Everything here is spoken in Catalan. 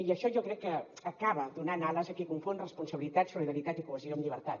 i això jo crec que acaba donant ales a qui confon responsabilitat solidaritat i cohesió amb llibertat